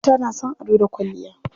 Mata na son ado da kwalliya.